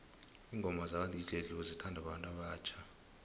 ingoma zaka dj cleo zithanwa babantu abatjha